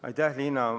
Aitäh, Liina!